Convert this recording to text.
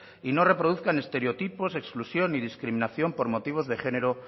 y no reproduzcan estereotipos exclusión ni discriminación por motivos de género